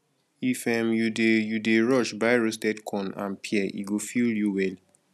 if um you dey you dey rush buy roasted corn and pear e go fill you well